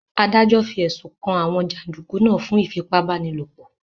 Adájọ́ fi ẹ̀sùn kan àwọn jàndùkú náà fún ìfipá-báni-lòpọ̀